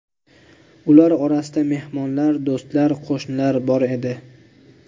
Ular orasida mehmonlar, do‘stlar, qo‘shnilar bor edi.